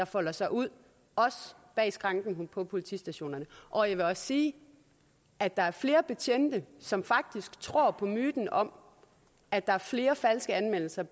folder sig ud bag skranken på politistationerne og jeg vil også sige at der er flere betjente som faktisk tror på myten om at der er flere falske anmeldelser